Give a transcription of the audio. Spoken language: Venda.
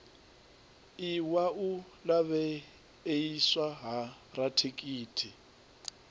iwa u lavheieswa ha rathekiniki